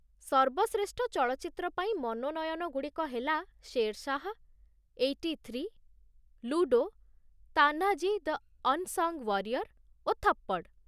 ସର୍ବଶ୍ରେଷ୍ଠ ଚଳଚ୍ଚିତ୍ର ପାଇଁ ମନୋନୟନ ଗୁଡ଼ିକ ହେଲା 'Shershaah', 'eighty three', 'Ludo, 'Tanhaji the unsung warrior' ଓ 'ଥପ୍ପଡ଼୍'।